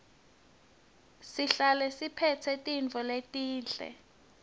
sihlale siphetse tintfo letinhle